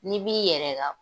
N'i b'i yɛrɛ la